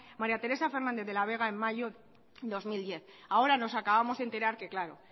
maría teresa fernández de la vega en mayo de dos mil diez ahora nos acabamos de enterar que claro